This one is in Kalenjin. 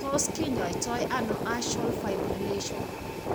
Tos kinyaitoono artial fibrillation?